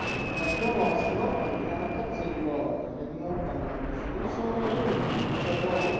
у меня дома установка меня она так заебала я не могу там находиться не на своём районе не у себя дома